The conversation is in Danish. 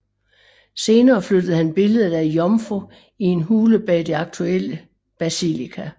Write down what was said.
Senere flyttede han billedet af Jomfru i en hule bag det aktuelle basilika